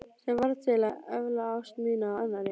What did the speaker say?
Sem varð til að efla ást mína á annarri.